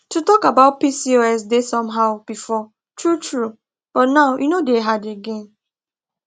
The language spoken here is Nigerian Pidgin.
to talk about pcos dey somehow before true true but now e no dey hard again